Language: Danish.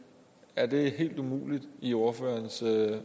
er det helt umuligt i ordførerens